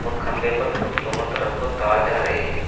र खंभे पर दोनों तरफ को तार जा रही हैं।